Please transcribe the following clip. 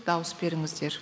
дауыс беріңіздер